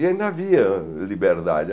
E ainda havia liberdade.